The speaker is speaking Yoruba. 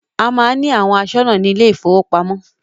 A má ń ní àwọn aṣọ́nà ní ilé ìfọwọ́pamo.